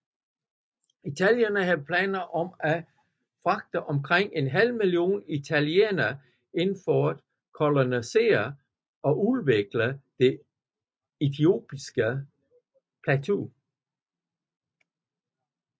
Italienerne havde planer om at fragte omkring en halv million italienere ind for at kolonisere og udvikle det etiopiske plateau